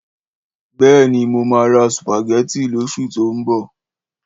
Béèni, mo ma ra sùpàgétì lọ́sù tó ń bọ̀.